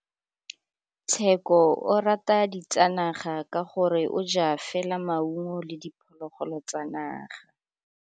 Tshekô o rata ditsanaga ka gore o ja fela maungo le diphologolo tsa naga.